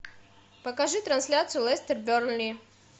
покажи трансляцию лестер бернли